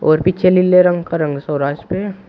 और पीछे लीले रंग का रंग स्वराज पे--